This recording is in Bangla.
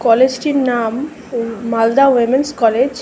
কলেজটির নাম মালদা উমেনস কলেজ ।